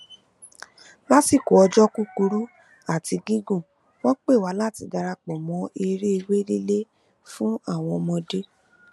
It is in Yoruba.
lásìkò ọjọ kúkurú àti gígùn wọn pè wá láti darapọ mọ eré ewé lílé fún àwọn ọmọdé